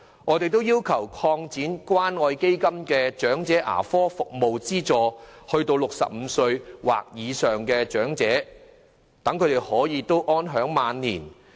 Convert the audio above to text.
我們亦要求擴展關愛基金的長者牙科服務資助項目至65歲或以上的長者，讓他們能夠安享晚年。